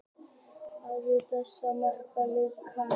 Hvorugur þessara markvarða hafa leikið landsleik.